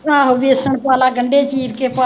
ਆਹੋ ਵੇਸਣ ਪਾਲਾ, ਗੰਡੇ ਚੀਰ ਕੇ ਪਾਲਾ।